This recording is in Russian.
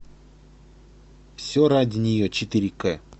все ради нее четыре к